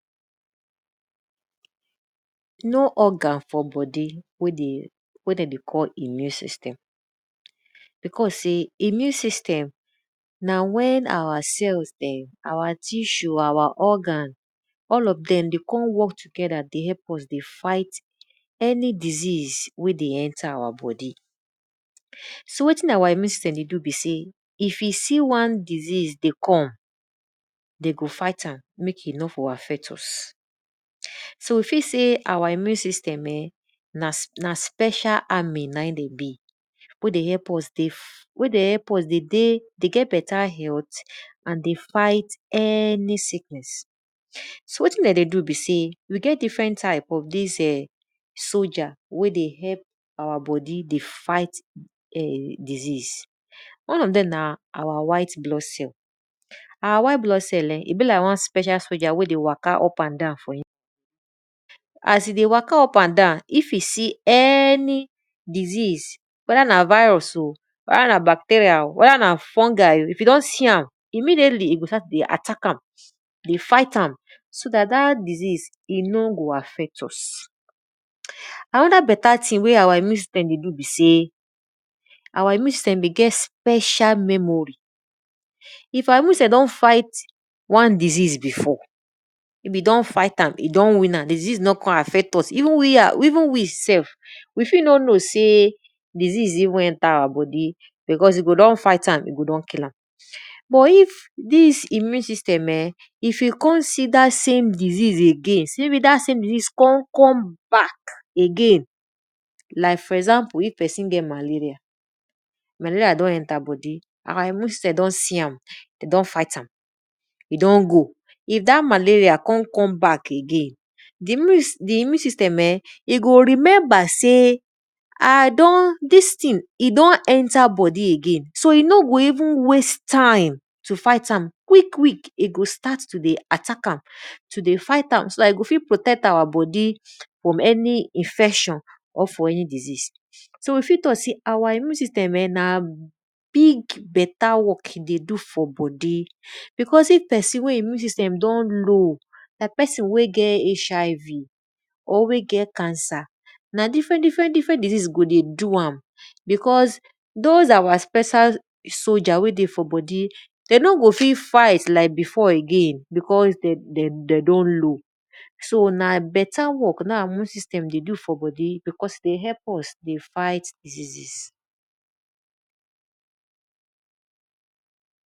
Organ for bodi wey de dey call immune system becaue sey immune system na wen our cells dem, our organs our tissue all of dem de work together dey help use dey fight any disease wey dey for our bodi. so wetin our immue system dey do be sey if e see wa diseases dey come, de go fight m mek e no for affect us. So e fit see our immune system eh na special army n aim dem be wey dey help us dey get beta health anddey fight any sickness. So wtin de dey do be sey we get different types of dis soldier wey dey help our bodi dey fight[um]dis diseases. One of dem na our white blood cell. Our wite blood cell[um]e be like one soldier wey dey waka up and down for inside as e dey waka up and down, if se any disease weda na virus oh weda na bacterial o weda na fungi o if e don see am immediately e go just attack am dey fight am so dat dat disease e o go affect us. Anoda beta thing wey our immune system dey do besey our immune system dey get special memory. If our immune sys tem don fig h t wan disease before, be don fight am don win am diseases no kon affect us even we self we fit no know sey disease don enter our bodi but if dis immune system eh if e kon see dat same di sease again sey e come back again like fo example if pesin get malaria, di malerial don enter bodi and di immune system don fight am e don go. If dat malerial kon come back again, di immune system eh e go remember sey I don dis tin e don enter bodi again so e no go even waste time to fight am quick quick so dat e go fit protect our bodi from any disease. So we tok sey our immune system na beta work den dey do for bodi because if pesin wey e immune system don low like pesin wey get HIV or wey get cancer, na different different disease go dey do am because those or special soldier wey dey bodi de no go fit fight again because de don low, so na beta work our immune system dey do e dey help us dey fight diseases.